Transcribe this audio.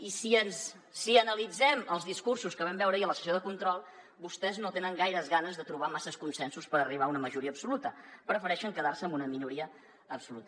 i si analitzem els discursos que vam veure ahir a la sessió de control vostès no tenen gaires ganes de trobar masses consensos per arribar a una majoria absoluta prefereixen quedar se en una minoria absoluta